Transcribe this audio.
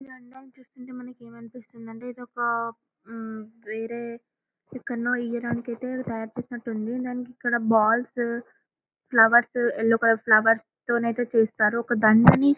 చిత్రంలో మనకి ఏమనిపిస్తుంది అంటే ఇది ఒక వేరే ఎక్కడ్నో ఇయ్యయడానికి అయితే తాయారు చేసినట్లు ఉంది ఇక్కడబాల్స్ ఫ్లవర్స్ ఎల్లో కలర్ ఫ్లవర్స్ తోనైతే చేస్తారు ఒక దండని --.